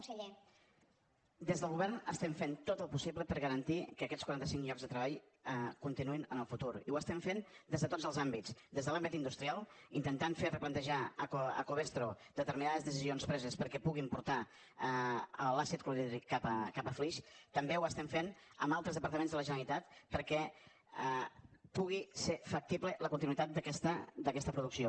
des del govern estem fent tot el possible per garantir que aquests quaranta cinc llocs de treball continuïn en el futur i ho estem fent des de tots els àmbits des de l’àmbit industrial intentant fer replantejar a covestro determinades decisions preses perquè puguin portar l’àcid clorhídric cap a flix també ho estem fent amb altres departaments de la generalitat perquè pugui ser factible la continuïtat d’aquesta producció